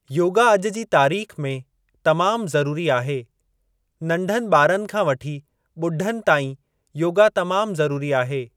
योगा अॼु जी तारीख़ में तमाम ज़रूरी आहे, नंढनि ॿारनि खां वठी ॿुढनि ताईं योगा तमाम ज़रूरी आहे।